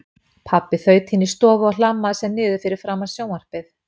Pabbi þaut inní stofu og hlammaði sér niður fyrir framan sjónvarpið.